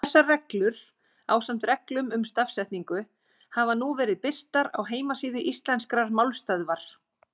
Þessar reglur, ásamt reglum um stafsetningu, hafa nú verið birtar á heimasíðu Íslenskrar málstöðvar.